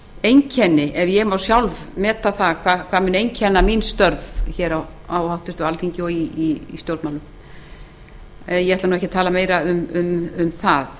einkenni ef ég má sjálf meta það hvað muni einkenna störf mín á háttvirtu alþingi og í stjórnmálum ég ætla ekki að tala meira um það